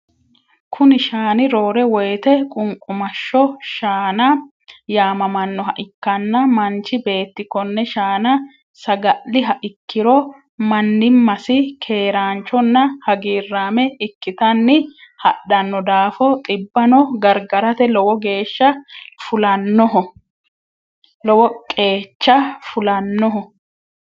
Kuni shaani roore woyite qumqumashsho shaana yamamannoha ikkanna manchi beetti konne shaana saga'liha ikkiro mannimasi keeranchonna hagiiraame ikkitanni hadhano daafo xibano gargarate lowo qeecha fulannoho.